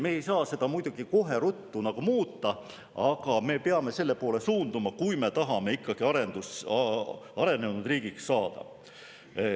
Me ei saa seda muidugi kohe ruttu muuta, aga me peame selle poole suunduma, kui me tahame ikkagi arenenud riigiks saada.